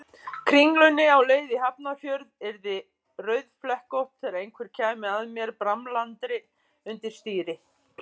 Kringlunni á leið í Hafnarfjörð yrði rauðflekkótt þegar einhver kæmi að mér bramlaðri undir stýri.